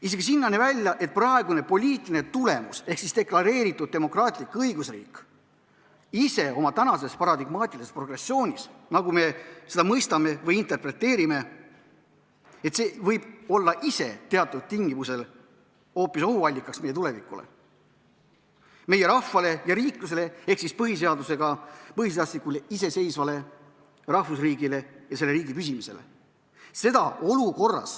Isegi sinnani välja, et praegune poliitiline tulemus ehk deklareeritud demokraatlik õigusriik oma tänases paradigmaatilises progressioonis, nagu me seda mõistame või interpreteerime, võib olla ise teatud tingimusel hoopis ohuallikas meie tulevikule, meie rahvale ja riiklusele ehk siis põhiseaduslikule iseseisvale rahvusriigile ja selle riigi püsimisele.